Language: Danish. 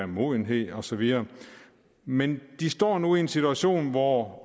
modenhed og så videre men de står nu i en situation hvor